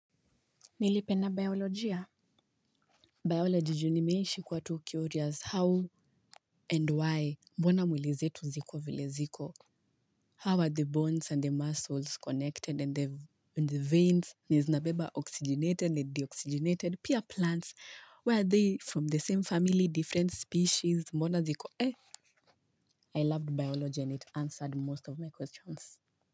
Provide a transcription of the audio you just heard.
Nilipenda biolojia. Bioloji juu nimeishi kuwa tu curious how and why mbona mwili zetu ziko vile ziko? How are the bones and the muscles connected and the veins? Ni zina beba oxygenated and deoxygenated. Pia plants? Were they from the same family, different species? Mbona ziko eh? I loved biology and it answered most of my questions.